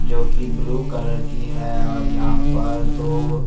जो कि blue colour की है और यहाँ पर दो सु--